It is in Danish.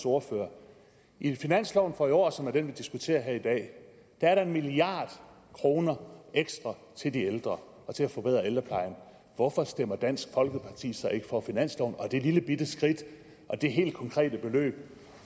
ordfører i finansloven for næste år som er den vi diskuterer her i dag er der en milliard kroner ekstra til de ældre og til at forbedre ældreplejen hvorfor stemmer dansk folkeparti så ikke for finansloven og det lillebitte skridt og det helt konkrete beløb